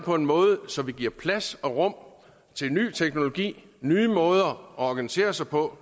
på en måde så vi giver plads og rum til ny teknologi nye måder at organisere sig på